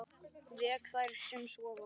Vek þær sem sofa.